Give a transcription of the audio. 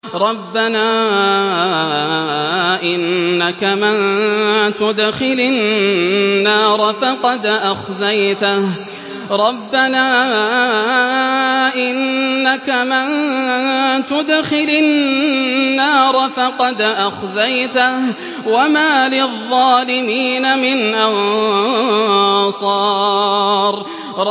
رَبَّنَا إِنَّكَ مَن تُدْخِلِ النَّارَ فَقَدْ أَخْزَيْتَهُ ۖ وَمَا لِلظَّالِمِينَ مِنْ أَنصَارٍ